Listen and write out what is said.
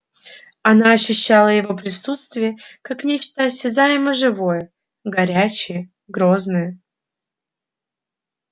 она ощущала его присутствие как нечто осязаемо-живое горячее грозное